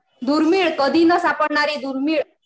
दुर्मिळ. कधी न सापडणारी. दुर्मिळ.